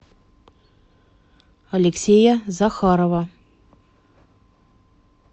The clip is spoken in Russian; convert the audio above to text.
алексея захарова